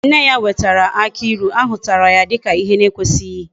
Nne ya wetara aki ilu, ahutara ya dika ihe na ekwesighi